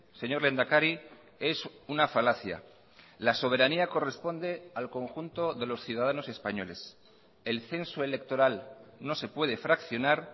señor lehendakari es una falacia la soberanía corresponde al conjunto de los ciudadanos españoles el censo electoral no se puede fraccionar